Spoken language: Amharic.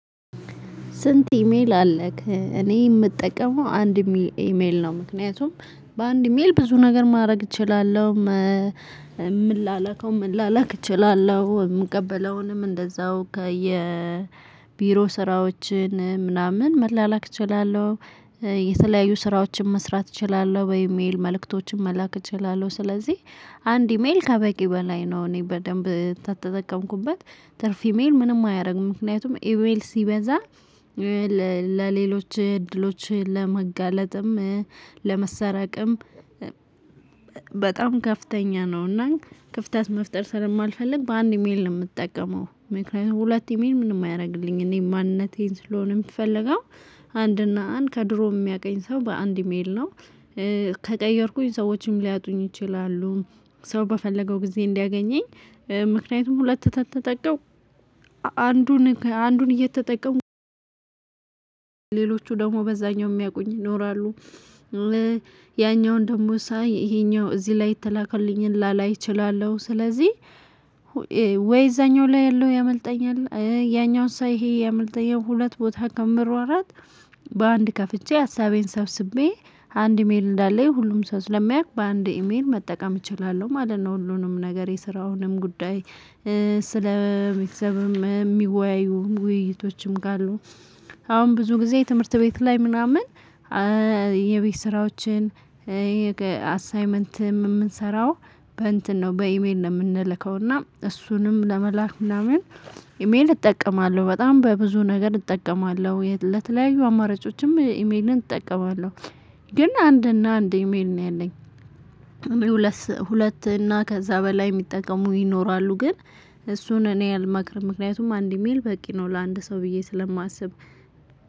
"ስንት ኢሜል አለክ?" እኔ የምጠቀመው አንድ ኢሜ ኢሜል ነው ምክንያቱም በአንድ ኢሜል ብዙ ነገር ማድረግ እችላለሁ። ምላላከውን መላላክ እችላለሁ፣ የምቀበለውንም እንደዛው ከየቢሮ ስራዎችን ምናምን መላላክ እችላለሁ። የተለያዩ ስራዎችን መስራት እችላለሁ በኢሜል መልእክቶችን መላክ እችላለሁ ስለዚህ አንድ ኢሜል ከበቂ በላይ ነው እኔ በደንብ ከተጠቀምኩበት ትርፍ ኢሜል ምንም አያደርግም። ምክንያቱም ኢሜል ሲበዛ ለ ለሌሎች እድሎች ለመጋለጥም፣ ለመሰራቅም ከፍተኛ ነውና ክፍተት መፍጠር ስለማልፈልግ በአንድ ኢሜል ነው የምጠቀመው። ምክንያቱም ሁለት ኢሜል ምንም አያደርግልኝም እኔ ማንነቴን ስለሆነ የሚፈልገው አንድ እና አንድ ከድሮ የሚያቀኝ ሰው በአንድ ኢሜል ነው። ከቀየርኩኝ ሰዎችም ሊያጡኝ ይችላሉ። ሰው በፈለገው ጊዜ እንዲያገኘኝ ምክንያቱም ሁለት ከተጠቀምኩ አንዱን አንዱን እየተጠቀሙ ሌሎቹ ደግሞ በዛኛው የሚያውቁኝ ይኖራሉ። ያኛውን ደግሞ ሳይ እሄኛው እዚህ ላይ የተላከልኝን ላላይ እችላለሁ። ስለዚህ ወይ እዛኛው ላይ ያለው ያመልጠኛል ያኛውን ሳይ ይሄ ያመልጠኛል ሁለት ቦታ ከምሯሯጥ፤ በአንድ ከፍቼ ሀሳቤን ሰብስቤ አንድ ኢሜል እንዳለኝ ሁሉም ሰው ስለሚያውቅ በአንድ ኢሜል መጠቀም እችላለሁ ማለት ነው ሁሉንም ነገር የስራውንም ጉዳይ ስለ ስለሚወያዩ ውይይቶችም ካሉ አሁን ብዙ ጊዜ ትምህርት ቤት ላይ ምናምን የቤት ስራዎችን አሳይመንትም የምንሰራው በእንትን ነው በኢሜል ነው የምንለከው እና እሱንም ለመላክ ምናምን ኢሜል እጠቀማለሁ በጣም በብዙ ነገር እጠቀማለሁ ለተለያዩ አማራጮችም ኢሜልን እጠቀማለሁ። ግን አንድ እና አንድ ኢሜል ነው ያለኝ። ሁለት ሁለት እና ከዛ በላይ የሚጠቀሙ ይኖራሉ፤ ግን እሱን እኔ አልመክርም ምክንያቱም አንድ ኢሜል በቂ ነው ለአንድ ሰው ብዬ ስለማስብ